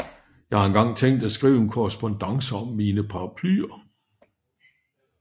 Jeg har engang tænkt at skrive en Korrespondance om mine Paraplyer